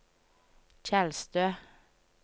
Tjeldstø